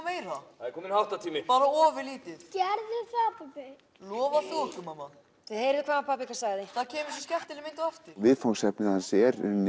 meira það er kominn háttatími bara ofurlítið gerðu það pabbi lofa þú okkur mamma þið heyrðuð hvað pabbi ykkar sagði það kemur svo skemmtileg mynd á eftir viðfangsefni hans er